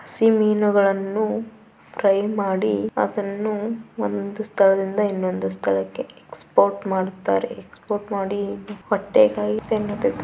ಈ ಮೀನುಗಳನ್ನು ಫ್ರೈ ಮಾಡಿ ಒಂದು ಸ್ಥಳದಿಂದ ಇನ್ನೊಂದು ಸ್ಥಳಕ್ಕೆ ಎಕ್ಸ್ ಪೋರ್ಟ್ ಮಾಡುತ್ತಾರೆ ಎಕ್ಸ್ಪೋರ್ಟ್ ಮಾಡಿ